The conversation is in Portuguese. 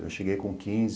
Eu cheguei com quinze.